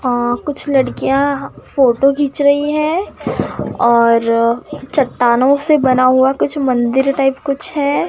कुछ लड़कियां फोटो खींच रही है और चट्टानों से बना हुआ कुछ मंदिर टाइप कुछ है।